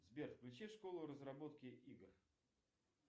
сбер включи школу разработки игр